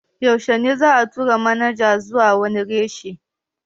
Yaushe ne za'a tura manaja zuwa wani reshe?